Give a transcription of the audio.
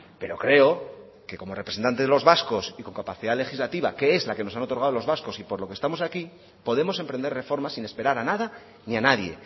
pero creo que como representante de los vascos y con capacidad legislativa que es la que nos han otorgado los vascos y por lo que estamos aquí podemos emprender reformas sin esperar a nada ni a nadie